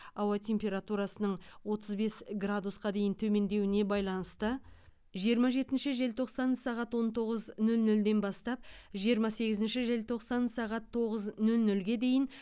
ауа температурасының отыз бес градусқа дейін төмендеуіне байланысты жиырма жетінші желтоқсан сағат он тоғыз нөл нөлден бастап жиырма сегізінші желтоқсан сағат тоғыз нөл нөлге дейін